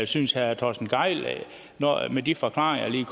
synes herre torsten gejl med de forklaringer jeg lige